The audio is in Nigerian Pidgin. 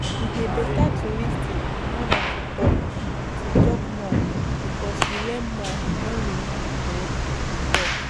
E dey better to lis ten more than to talk to talk more because we learn more when we no um dey talk